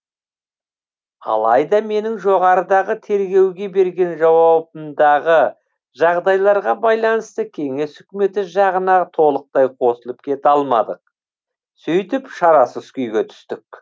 алайда менің жоғарыдағы тергеуге берген жауабымдағы жағдайларға байланысты кеңес өкіметі жағына толықтай қосылып кете алмадық сөйтіп шарасыз күйге түстік